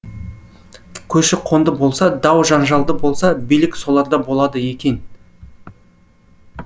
көші қонды болса дау жанжалды болса билік соларда болады екен